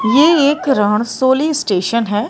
ये एक राणसोली स्टेशन है।